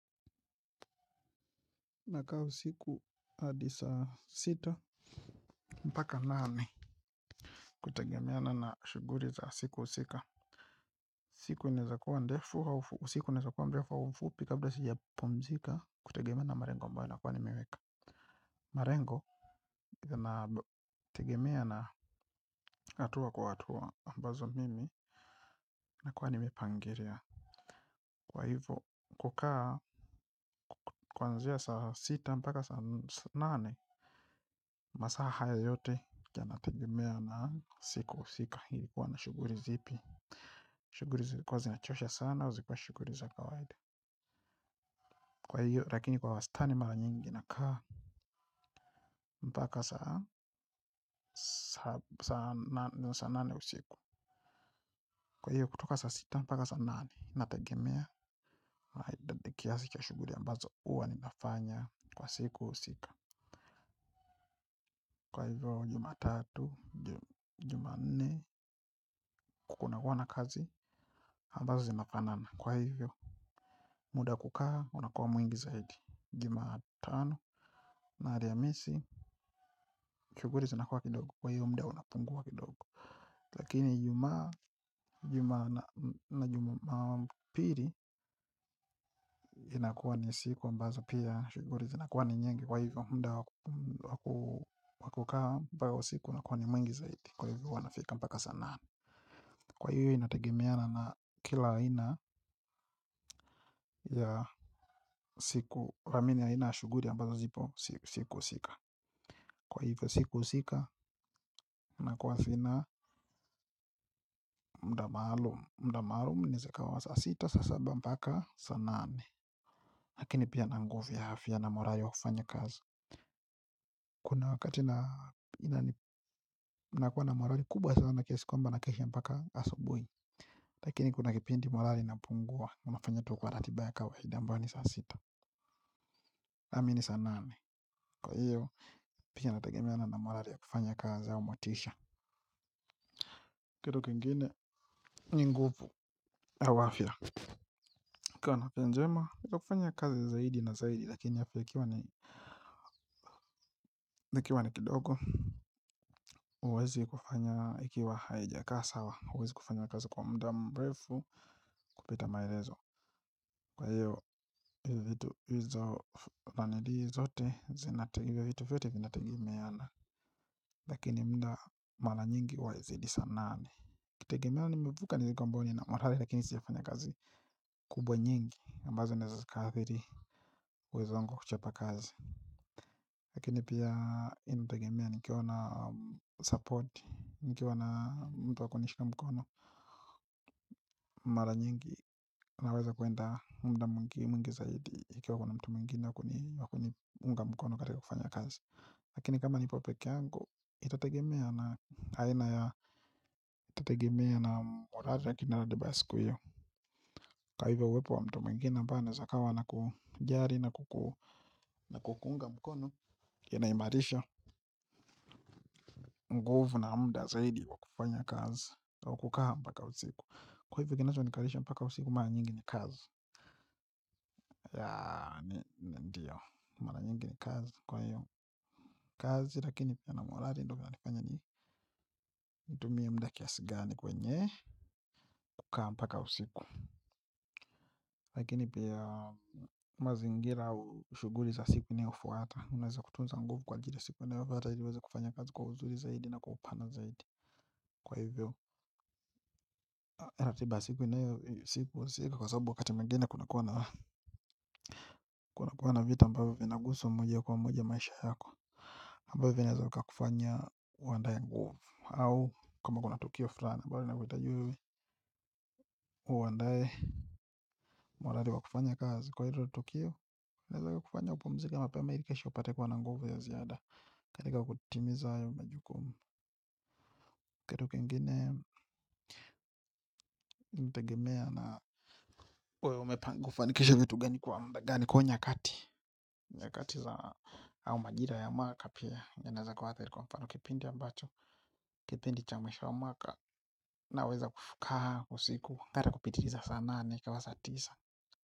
Nakaa usiku hadi saa sita mpaka nane kutegemeana na shuguli za siku husika. Siku inaezakua ndefu usiku inaezakua mrefu au mfupi kabla sijapumzika kutegemea na malengo ambayo nakuwa nimeweka. Malengo na tegemea na hatua kwa hatua ambazo mimi nakuwa nimepangilia. Kwa hivyo kukaa kwanzia saa sita mpaka saa nane masaa haya yote yanatagemea na siku husika nilikuwa na shuguli zipi. Shuguli zilikuwa zinachosha sana zilikuwa shuguli za kawaida. Kwa hiyo lakini kwa wastani mara nyingi nakaa mpaka saa nane usiku kwa hiyo kutoka saa sita mpaka saa nane nategemea na idadi kiasi cha shuguli ambazo huwa ninafanya kwa siku husika. Kwa hivyo jumatatu, jumanne, kunakuwa na kazi, ambazo zinafanana kwa hivyo. Muda kukaa, unakua mwingi zaidi. Jumatano, na alhamisi, shuguli zinakuwa kidogo kwa hiyo muda unapungua kidogo lakini ijumaa na jumapili, inakua ni siku ambazo pia shuguli zinakua ni nyingi. Kwa hivyo muda wa kukaa, ambao siku unakua ni mwingi zaidi. Kwa hivyo huwa nafika mpaka saa nane. Kwa hiyo inategemeana na kila aina ya siku ramini aina ya shughuli ambazo zipo siku husika. Kwa hivyo siku husika inakuwa sina muda maalum. Muda maalum inaeza ikawa wa saa sita, saa saba mpaka saa nane. Lakini pia na nguvu ya afya na morali wa kufanya kazi. Kuna wakati nakuwa na morali kubwa sana kiasi kwamba nakesha mpaka asubuhi. Lakini kuna kipindi morali inapungua nafanya tu kwa ratiba ya kawaida ambayo ni saa sita nami ni saa nane. Kwa hiyo, pia nategemea na na morali ya kufanya kazi au motisha. Kitu kingine, ni nguvu au afya ukiwa na afya njema, kuna kufanya kazi zaidi na zaidi. Lakini afya ikiwa ni kidogo, huwezi kufanya ikiwa haijakaa sawa. Huwezikufanya kazi kwa muda mrefu kupita maelezo. Kwa hiyo, vitu hizo ranili zote, zinategemeana. Lakini muda mara nyingihuwa haizidi saa nane. Ikitegemea nimevuka niliko ambao nina morali lakini sijafanya kazi. Kubwa nyingi ambazo ni zinaeza zikaathiri uwezo wangu wa kuchapa kazi. Lakini pia inategemea nikiwa na support nikiwa na mtu wa kunishika mkono. Mara nyingi naweza kuenda muda mwingi mwingi zaidi ikiwa kuna mtu mwingine wa kuni wa kuniunga mkono katika kufanya kazi. Lakini kama nipo peke yangu itategemea na aina ya itategemea na morali ya ratiba ya siku iyo. Kwa hivyo uwepo wa mtu mwingine ambaye anayeza akawa na kujali na kuku na kukuunga mkono inaimarisha nguvu na muda zaidi wa kufanya kazi na wa kukaa mpaka usiku. Kwa hivyo kinachonikalisha mpaka usiku mara nyingi ni kazi. Yaa ni ndiyo mara nyingi ni kazi kwa hiyo kazi lakini pia na morali ndio vinanifanya ni nitumie muda kiasi gani kwenye kukaa mpaka usiku. Lakini pia mazingira au shughuli za siku ni hufuata unaweza kutunza nguvu kwa ajili ya siku inayofuata ili uweze kufanya kazi kwa uzuri zaidi na kwa upana zaidi. Kwa hivyo ratiba ya siku inayohusika kwa sababu wakati mwingine kunakuwa na vita ambavyo vinakuhusu moja kwa moja kwa maisha yako. Amabavyo vinaweza kakufanya uandae nguvu au kama kuna tukio fulani ambalo linakuhitaji wewe uandae morali wa kufanya kazi kwa hilo tukio unaweza ukakufanya upumzike mapema ili kesho upate kuwa na nguvu ya ziada katika kutimiza hayo majukumu kitu kingine tegemea na wewe umepanga kufanikisha vitu gani kuwa muda gani kwa hiyo nyakati nyakati za au majira ya mwaka pia yanaweza kuathiri kwa mfano kipindi ambacho kipindi cha mwisho wa mwaka naweza kukaa usiku hata kupitiliza sana nane ikawa saa tisa.